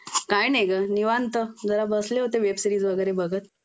काय नाही ग निवांत जरा बसले होते वेब सिरीज वगैरे बघत